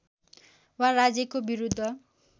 वा राज्यको विरुद्ध